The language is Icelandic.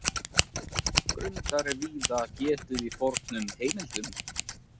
Grundar er víða getið í fornum heimildum.